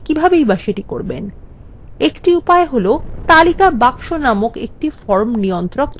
একটি উপায় হল তালিকা box নামক একটি form নিয়ন্ত্রক যোগ করা